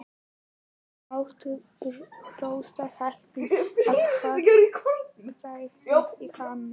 Þú mátt hrósa happi að hafa krækt í hana.